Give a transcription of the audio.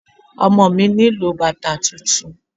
Ọmọ mi nílò bàtà tuntun.